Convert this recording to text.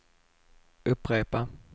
upprepa